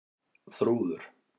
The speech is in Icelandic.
Þrúður